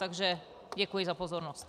Takže děkuji za pozornost.